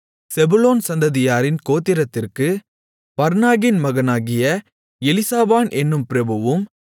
செபுலோன் சந்ததியாரின் கோத்திரத்திற்கு பர்னாகின் மகனாகிய எலிசாபான் என்னும் பிரபுவும்